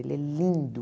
Ele é lindo.